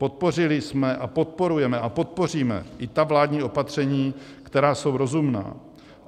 Podpořili jsme a podporujeme a podpoříme i ta vládní opatření, která jsou rozumná.